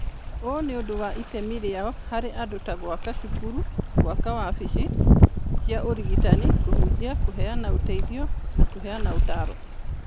Ũũ nĩ ũndũ wa itemi rĩao harĩ andũ ta gwaka cukuru, gwaka wabici cia ũrigitani, kũhunjia, kũheana ũteithio na kũheana ũtaaro.